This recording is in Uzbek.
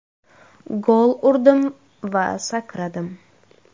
Gol urdim va sakradim.